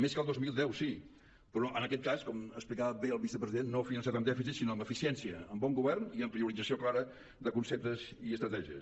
més que el dos mil deu sí però en aquest cas com explicava bé el vicepresident no finançat amb dèficit sinó amb eficiència amb bon govern i amb priorització clara de conceptes i estratègies